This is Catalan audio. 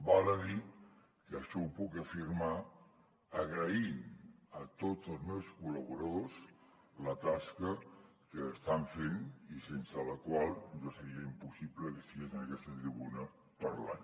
val a dir que això ho puc afirmar agraint a tots els meus col·laboradors la tasca que estan fent i sense la qual jo seria impossible que estigués en aquesta tribuna parlant